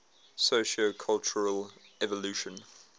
sociocultural evolution